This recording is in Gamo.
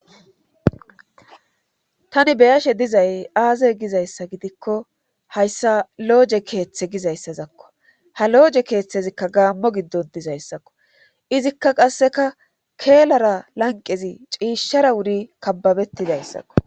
Tani beyashe dizay aazey gizayssa gidikko hayssa looje keeththe gizayssazakko ha looje keeththezikka gaammo giddon dizayssakko izikka qasseka keelara lanqezi ciishshara wuri kababettidayssakko.